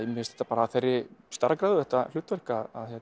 mér finnst þetta bara af þeirri stærðargráðu þetta hlutverk að